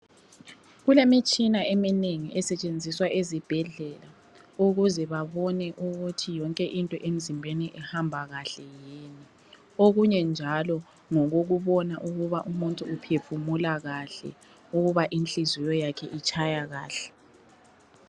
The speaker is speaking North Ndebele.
Kulemitshina eminengi esetshenziswa ezibhedlela ukuze babone ukuthi yonke into emzimbeni ihamba kahle okunye njalo ngokokubona ukuba umuntu uphefumula kahle ukuba inhliziyo yakhe itshaya kahle.